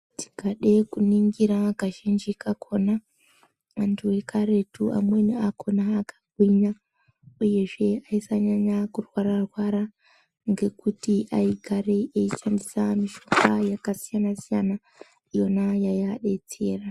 Takade kuringira kazhinji kakona anthu ekaretu amweni akona akagwinya uyezve aisanyanya kurwara rwara ngekuti aigare eishandisa mishonga yakasiyana siyana iyona yaiadetsera.